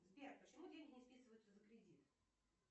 сбер почему деньги не списываются за кредит